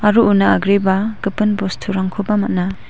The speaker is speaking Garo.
una agreba gipin bosturangkoba man·a.